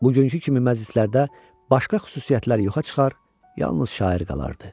Bugünkü kimi məclislərdə başqa xüsusiyyətlər yoxa çıxar, yalnız şair qalardı.